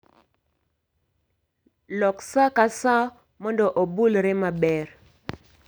Lok saa ka saa mondo obulre maber